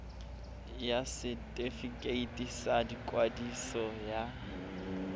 ya setefikeiti sa ikwadiso ya